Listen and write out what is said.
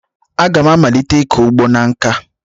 Aga m amalite ịkọ ugbo na nkà?